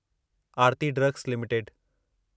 Aarti Drugs limited